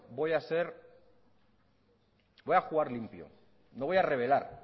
voy a jugar limpio no voy a revelar